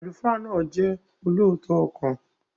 Àlùfáà náà jẹ́ olóòótọ́ ọkàn.